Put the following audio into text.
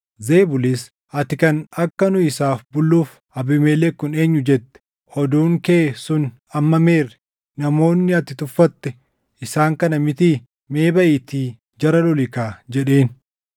Zebulis, “Ati kan, ‘Akka nu isaaf bulluuf Abiimelek kun eenyu?’ jette, oduun kee sun amma meerre? Namoonni ati tuffatte isaan kana mitii? Mee baʼiitii jara loli kaa!” jedheen.